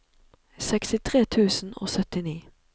sekstitre tusen og syttini